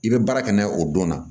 I bɛ baara kɛ n'a ye o don na